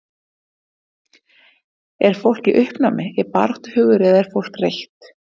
Er fólk í uppnámi, er baráttuhugur eða er fólk reitt?